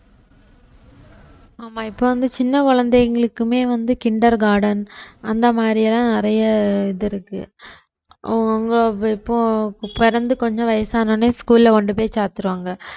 ஆமா இப்ப வந்து சின்ன குழந்தைகளுக்குமே வந்து kinder garden அந்த மாதிரி எல்லாம் நிறைய இது இருக்கு அவங்கவங்க இப்போ பிறந்து கொஞ்சம் வயசானவுடனே school ல கொண்டு போய் சேர்த்துருவாங்க